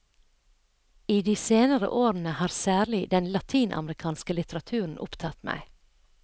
I de senere årene har særlig den latinamerikanske litteraturen opptatt meg.